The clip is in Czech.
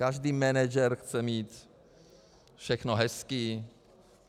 Každý manažer chce mít všechno hezké.